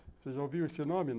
Você já ouviu esse nome?